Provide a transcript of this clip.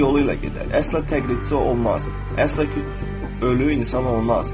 Öz yolu ilə gedər, əsla təqlidçi olmaz, əsla ölü insan olmaz.